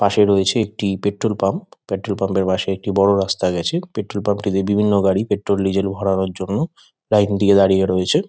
পাশে রয়েছে একটি পেট্ৰোল পাম্প ।পেট্ৰোল পাম্প -এর পাশে একটি বড় রাস্তা গেছে। পেট্ৰোল পাম্প -টিতে বিভিন্ন গাড়ি পেট্রোল ডিজেল ভরানোর জন্য লাইন দিয়ে দাঁড়িয়ে রয়েছে।